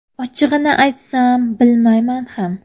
Ochig‘ini aytsam, bilmayman ham.